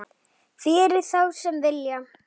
Fyrir þá sem vilja.